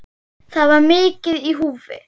Það var mikið í húfi.